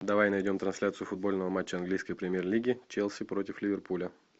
давай найдем трансляцию футбольного матча английской премьер лиги челси против ливерпуля